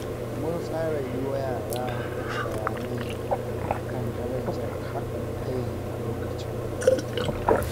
Mun tsara yi wa yara bayanai a kan darajar haɗin kai a lokacin hutu.